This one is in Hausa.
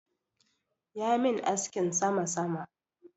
Ya min askin sama-sama.